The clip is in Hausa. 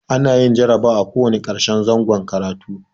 A na yin jarabawa a ko wanna karshen zangon karatu